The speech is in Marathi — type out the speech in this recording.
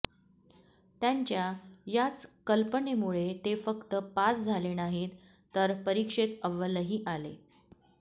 त्यांच्या याच कल्पनेमुळे ते फक्त पास झाले नाहीत तर परीक्षेत अव्वलही आले